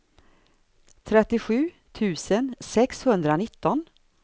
trettiosju tusen sexhundranitton